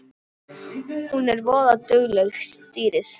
Hún er voða dugleg, stýrið.